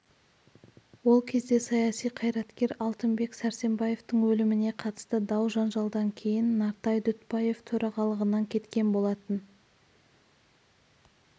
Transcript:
ол кезде саяси қайраткер алтынбек сәрсенбаевтың өліміне қатысты дау-жанжалдан кейін нартай дүтбаев төрағалығынан кеткен болатын